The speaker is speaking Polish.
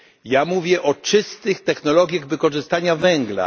Ja mówię o czystych technologiach wykorzystania węgla.